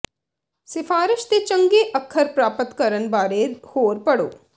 ਸਿਫਾਰਸ਼ ਦੇ ਚੰਗੇ ਅੱਖਰ ਪ੍ਰਾਪਤ ਕਰਨ ਬਾਰੇ ਹੋਰ ਪੜ੍ਹੋ